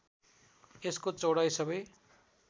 यसको चौडाइ सबै